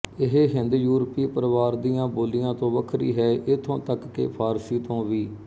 ਇਹ ਹਿੰਦਯੂਰਪੀ ਪਰਵਾਰ ਦੀਆਂ ਬੋਲੀਆਂ ਤੋਂ ਵੱਖਰੀ ਹੈ ਇੱਥੋਂ ਤੱਕ ਕਿ ਫ਼ਾਰਸੀ ਤੋਂ ਵੀ